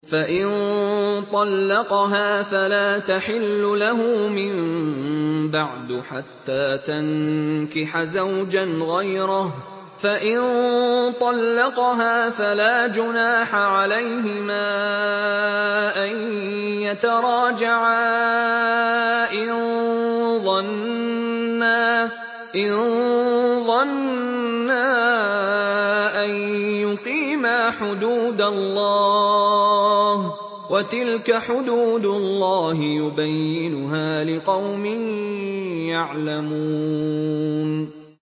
فَإِن طَلَّقَهَا فَلَا تَحِلُّ لَهُ مِن بَعْدُ حَتَّىٰ تَنكِحَ زَوْجًا غَيْرَهُ ۗ فَإِن طَلَّقَهَا فَلَا جُنَاحَ عَلَيْهِمَا أَن يَتَرَاجَعَا إِن ظَنَّا أَن يُقِيمَا حُدُودَ اللَّهِ ۗ وَتِلْكَ حُدُودُ اللَّهِ يُبَيِّنُهَا لِقَوْمٍ يَعْلَمُونَ